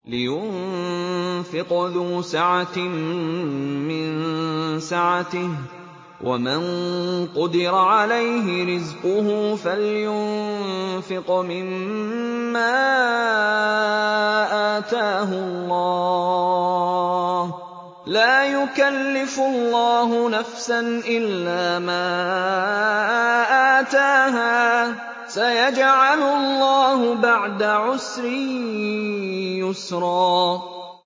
لِيُنفِقْ ذُو سَعَةٍ مِّن سَعَتِهِ ۖ وَمَن قُدِرَ عَلَيْهِ رِزْقُهُ فَلْيُنفِقْ مِمَّا آتَاهُ اللَّهُ ۚ لَا يُكَلِّفُ اللَّهُ نَفْسًا إِلَّا مَا آتَاهَا ۚ سَيَجْعَلُ اللَّهُ بَعْدَ عُسْرٍ يُسْرًا